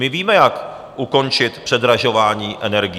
My víme, jak ukončit předražování energií.